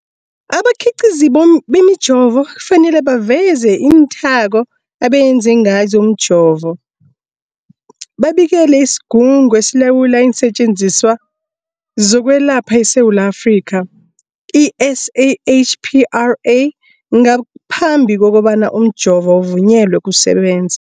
Abakhiqizi bemijovo kufanele baveze iinthako abenze ngazo umjovo, babikele isiGungu esiLawula iinSetjenziswa zokweLapha eSewula Afrika, i-SAHPRA, ngaphambi kobana umjovo uvunyelwe ukusebenza.